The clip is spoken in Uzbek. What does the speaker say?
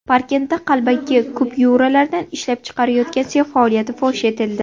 Parkentda qalbaki kupyuralarni ishlab chiqarayotgan sex faoliyati fosh etildi.